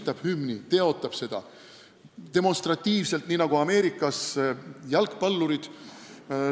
Näiteks nii, nagu teevad demonstratiivselt Ameerika jalgpallurid.